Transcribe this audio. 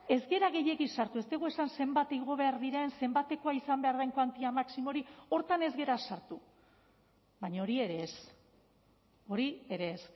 ez gara gehiegi sartu ez dugu esan zenbat igo behar diren zenbatekoa izan behar den kuantia maximo hori horretan ez gara sartu baina hori ere ez hori ere ez